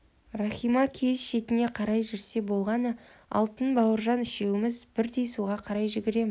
рахима киіз шетіне қарай жүрсе болғаны алтын бауыржан үшеуіміз бірдей суға қарай жүгіреміз